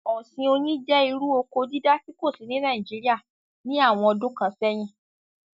Ọ̀sìn oyin jẹ́ irú oko dídá tí kò sí ní Naijiria ní àwọn ọdún kan sẹ̀yín